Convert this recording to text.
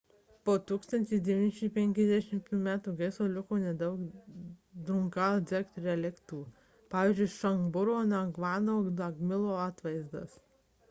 po 1951 m gaisro liko nedaug drukgyal dzong reliktų pvz. šabdrungo ngavango namgijalo atvaizdas